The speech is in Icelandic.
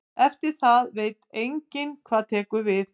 Eftir það veit enginn hvað tekur við.